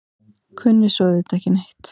Kunni svo auðvitað ekki neitt.